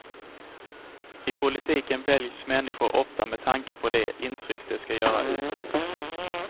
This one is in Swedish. I politiken väljs människor ofta med tanke på det intryck de ska göra utåt.